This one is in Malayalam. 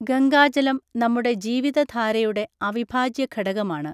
ഗംഗാജലം നമ്മുടെ ജീവിതധാരയുടെ അവിഭാജ്യഘടകമാണ്.